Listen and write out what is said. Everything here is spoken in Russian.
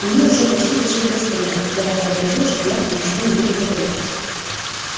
и мы уже почти дошли до стенда когда я сообразил что я-то ничего ему не говорил